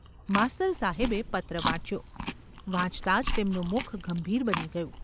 માસ્તર સાહેબે પત્ર વાંચ્યો. વાંચતાં જ તેમનું મુખ ગંભીર બની ગયું.